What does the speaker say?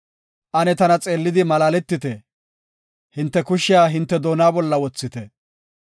Ane tana xeellidi malaaletite; hinte kushiya hinte doona bolla wothite.